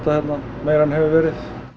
hérna meira en hefur verið